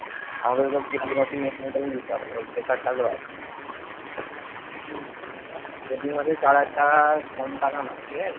আমাদের তো EMI টা তো দিতে হবে সেই pressure টা তো আছে আর প্রতি মাসে চার হাজার টাকা কম টাকা না ঠিকাছে।